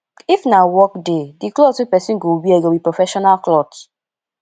if na work day di cloth wey person go wear go be professional cloth